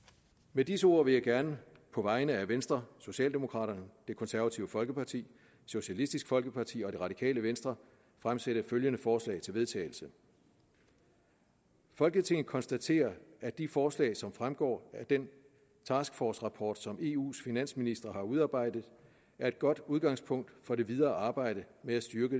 med disse ord vil jeg gerne på vegne af venstre socialdemokraterne det konservative folkeparti socialistisk folkeparti og det radikale venstre fremsætte følgende forslag til vedtagelse folketinget konstaterer at de forslag som fremgår af den task force rapport som eus finansministre har udarbejdet er et godt udgangspunkt for det videre arbejde med at styrke